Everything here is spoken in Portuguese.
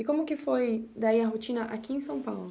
E como que foi, daí, a rotina aqui em São Paulo?